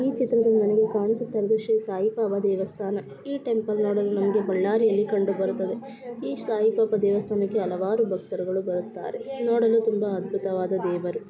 ಈ ಚಿತ್ರದಲ್ಲಿ ನಮಗೆ ಕಾಣಿಸುತ್ತ ಇರುವುದು ಶ್ರೀ ಸಾಯಿ ಬಾಬಾ ದೇವಸ್ಥಾನ ಈ ಟೆಂಪಲ್ ನೊಡಲು ನಮಗೆ ಬಳ್ಳಾರಿಯಲ್ಲಿ ಕಂಡು ಬರುತ್ತದೆ ಈ ಸಾಯಿ ಬಾಬಾ ದೇವಸ್ಥಾನಕ್ಕೆ ಹಲವಾರು ಭಕ್ತರು ಬರುತ್ತಾರೆ ನೊಡಲು ತುಂಬಾ ಅದ್ಭುತವಾದ ದೇವರು. .